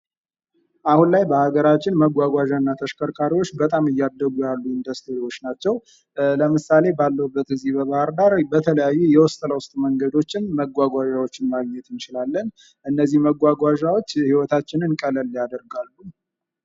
አሁን ላይ በሀገራችን መጓጓዣ እና ተሽከርካሪዎች በጣም እያደጉ ያሉ ኢንዱስትሪዎች ናቸው ። ለምሳሌ ባለሁበት እዚህ በባህር ዳር በተለያዩ የውስጥ ለውስጥ መንገዶችን መጓጓዣዎችን ማግኘት እንችላለን እነዚህ መጓጓኛዎች ህይወታችንን ቀለል ያደርጋሉ ።